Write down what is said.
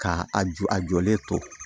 Ka a ju a jɔlen to